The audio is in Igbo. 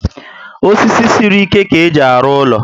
Osisi siri ike ka éjị arụ úlọ